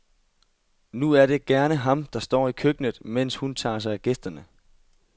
Nu er det gerne ham, der står i køkkenet, mens hun tager sig af gæsterne.